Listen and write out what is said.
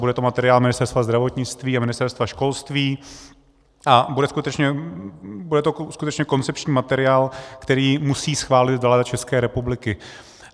Bude to materiál Ministerstva zdravotnictví a Ministerstva školství a bude to skutečně koncepční materiál, který musí schválit vláda České republiky.